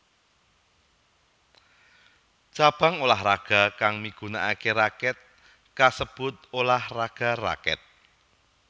Cabang ulah raga kang migunakake rakèt kasebut ulah raga rakèt